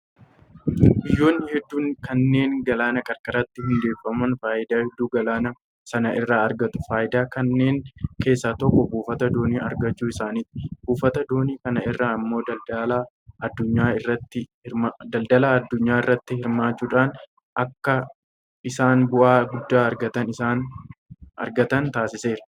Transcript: Biyyoonni hedduun kanneen galaana qarqaratti hundeeffaman faayidaa hedduu galaana sana irraa argatu. Faayidaa kanneen keessaa tokko buufata doonii argachuu isaaniiti. Buufata doonii kana irraa immoo daldala addunyaa irratti hirmaachuudhaan akka isaan bu'aa guddaa argatan taasiseera.